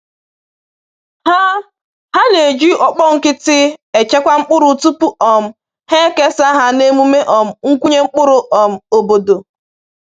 Ha Ha na-eji ọkpọ nkịtị echekwa mkpụrụ tupu um ha ekesa ha na emume um nkwụnye mkpụrụ um obodo